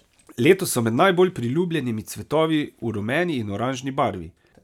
Letos so med najbolj priljubljenimi cvetovi v rumeni in oranžni barvi.